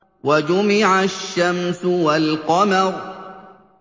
وَجُمِعَ الشَّمْسُ وَالْقَمَرُ